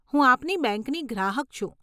હું આપની બેંકની ગ્રાહક છું.